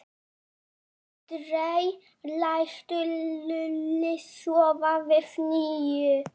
Aldrei lætur Lúlli svona við Nínu!